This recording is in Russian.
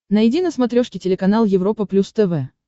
найди на смотрешке телеканал европа плюс тв